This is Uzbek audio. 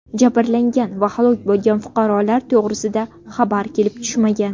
Jabrlangan va halok bo‘lgan fuqarolar to‘g‘risida xabar kelib tushmagan.